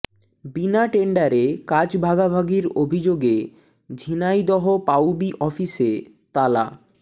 বিনা টেন্ডারে কাজ ভাগাভাগির অভিযোগে ঝিনাইদহ পাউবি অফিসে তালা